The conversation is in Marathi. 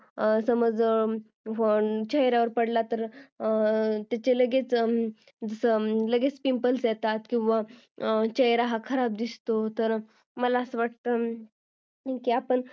चेहऱ्यावर पडला तर त्याचे लगेच pimples येतात किंवा चेहरा हा खराब दिसतो मला असं वाटतं आपण